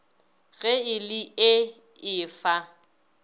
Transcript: ge e le ee efa